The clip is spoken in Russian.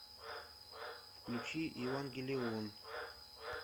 включи евангелион